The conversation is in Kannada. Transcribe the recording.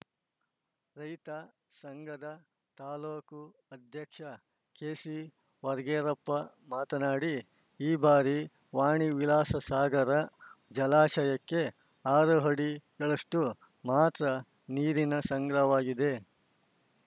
ರೈತ ಸಂಘದ ತಾಲೂಕು ಅಧ್ಯಕ್ಷ ಕೆಸಿ ಹೊರಕೇರಪ್ಪ ಮಾತನಾಡಿ ಈ ಬಾರಿ ವಾಣಿವಿಲಾಸಸಾಗರ ಜಲಾಶಯಕ್ಕೆ ಆರು ಅಡಿಗಳಷ್ಟು ಮಾತ್ರ ನೀರಿನ ಸಂಗ್ರವಾಗಿದೆ